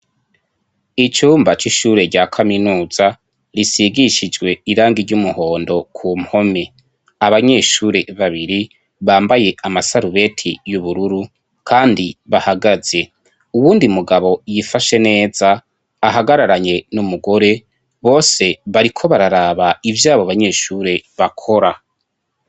Ucumba c'ishure rya kaminuza risigishijwe irangi ry'umuhondo ku mpome, abanyeshure babiri bambaye amasarubeti y'ubururu kandi bahagaze, uwundi mugabo yifashe neza ahagararanye n'umugore bose bariko bararaba ivyo abo banyeshure bakora.